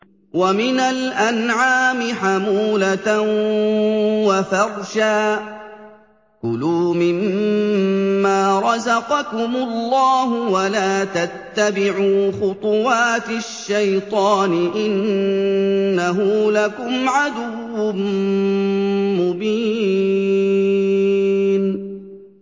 وَمِنَ الْأَنْعَامِ حَمُولَةً وَفَرْشًا ۚ كُلُوا مِمَّا رَزَقَكُمُ اللَّهُ وَلَا تَتَّبِعُوا خُطُوَاتِ الشَّيْطَانِ ۚ إِنَّهُ لَكُمْ عَدُوٌّ مُّبِينٌ